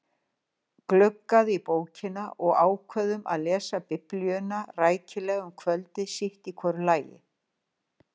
Glugguðum í bókina og ákváðum að lesa biblíuna rækilega um kvöldið sitt í hvoru lagi.